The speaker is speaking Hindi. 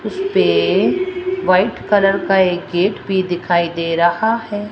इसपे वाइट कलर का एक गेट भी दिखाई दे रहा है।